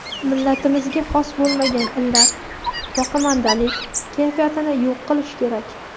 millatimizga xos bo‘lmagan illat - boqimandalik kayfiyatini yo‘q qilish kerak.